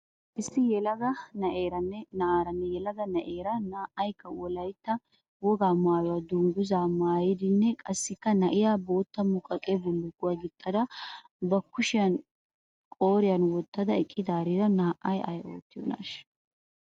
Issi yelaga na'aaranne yelaga na'eera na'aaykka wolaitta wogaa maayuwaa dunguzzaa maayidinne qaassikka na'iya bootta muqaqe bullukkuwa gixxada ba kushiya qooriyan wottada eqqidaariira naa'ay ay oottiyoonnashsha?